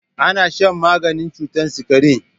Ana shan maganin cutar sikari.